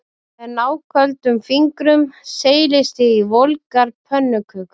Með náköldum fingrum seilist ég í volgar pönnukökur